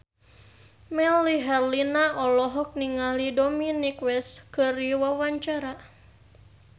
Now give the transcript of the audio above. Melly Herlina olohok ningali Dominic West keur diwawancara